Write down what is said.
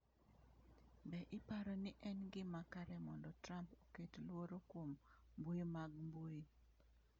Be iparo ni en gima kare mondo Trump oket luoro kuom mbui mag mbui?